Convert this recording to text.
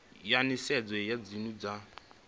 ya nisedzo ya dzinnu dza